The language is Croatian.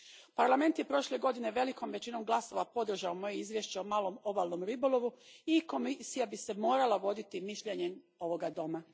Parlament je prošle godine velikom većinom glasova podržao moje izvješće o malom obalnom ribolovu i Komisija bi se morala voditi mišljenjem ovoga doma.